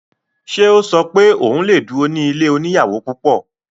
Ṣe ò sọ pé òun lè duro ní ilé oníyàwò púpọ̀?